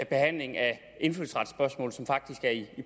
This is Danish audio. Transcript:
behandling af indfødsretsspørgsmål som faktisk er i